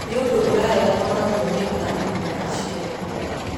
Nĩ ũndũ ũrareganwo naguo nĩ arimũ na aciari.